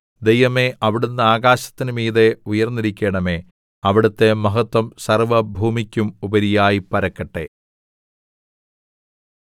ദൈവമേ അവിടുന്ന് ആകാശത്തിന് മീതെ ഉയർന്നിരിക്കണമേ അവിടുത്തെ മഹത്വം സർവ്വഭൂമിയ്ക്കും ഉപരിയായി പരക്കട്ടെ